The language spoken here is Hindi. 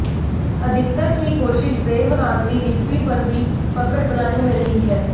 अधिकतर की कोशिश देवनागिरी लिपि पर भी पकड़ बनाने में रही है